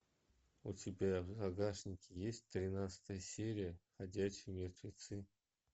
у тебя в загашнике есть тринадцатая серия ходячие мертвецы